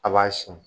A b'a sin